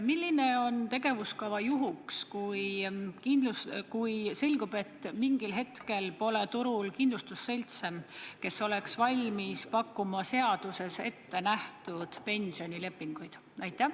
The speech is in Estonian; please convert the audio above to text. Milline on tegevuskava juhuks, kui selgub, et mingil hetkel pole turul kindlustusseltse, kes oleks valmis pakkuma seaduses ettenähtud pensionilepinguid?